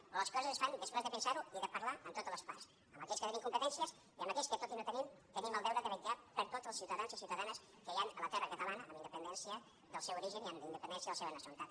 però les coses es fan després de pensar ho i de parlar amb totes les parts amb aquells que tenen competències i amb aquells que tot i no tenir ne tenim el deure de vetllar per tots els ciutadans i ciutadanes que hi han a la terra catalana amb independència del seu origen i amb independència de la seva nacionalitat